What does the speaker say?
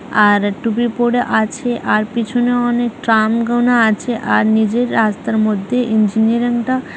আর টুপি পড়ে আছে । আর পিছনে অনেক ট্রাম গোনা আছে। আর নিজের রাস্তার মধ্যে ইঞ্জিনিয়ারিং টা --